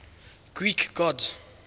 greek gods